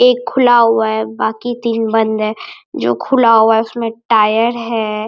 एक खुला हुआ है बाकी तीन बंद है जो खुला हुआ है उसमें टायर है।